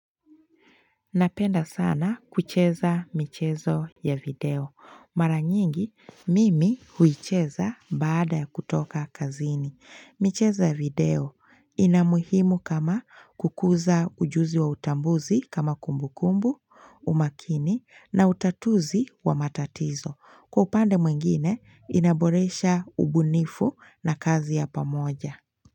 Napenda sana kucheza michezo ya video. Mara nyingi, mimi huicheza baada ya kutoka kazini. Michezo ya video inamuhimu kama kukuza ujuzi wa utambuzi kama kumbu kumbu, umakini na utatuzi wa matatizo. Kwa upande mwingine, inaboresha ubunifu na kazi ya pamoja.